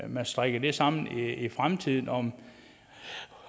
man strikker det sammen i fremtiden om